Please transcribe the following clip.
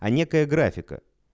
а некая графика